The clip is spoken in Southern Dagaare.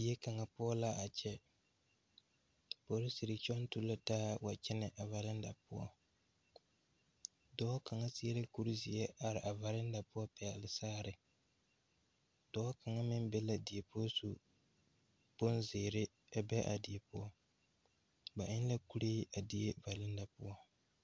Die kaŋa poͻ la a kyԑ. Polisiri kyͻŋ tu la taa a kyԑnԑ a valinda poͻ. Dͻͻ kaŋa seԑ la kuri zeԑ are a valinda poͻ a pԑgele saare. Dͻͻ kaŋa meŋ be la die poͻ su bonzeere a be a die poͻ. Ba eŋ la kuree a die valinda poͻ.